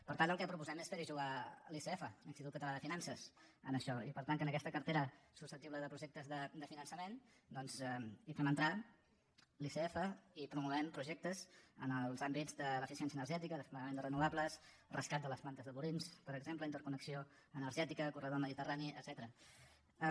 per tant el que proposem és fer hi jugar l’icf l’institut català de finances en això i per tant que en aquesta cartera susceptible de projectes de finançament doncs hi fem entrar l’icf i promoguem projectes en els àmbits de l’eficiència energètica desplegament de renovables rescat de les plantes de purins per exemple interconnexió energètica corredor mediterrani etcètera